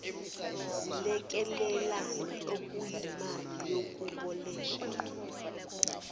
zilekelelane okuyimali yokwebolekwa